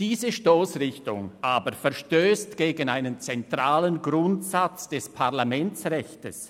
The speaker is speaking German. Diese Stossrichtung aber verstösst gegen einen zentralen Grundsatz des Parlamentsrechts.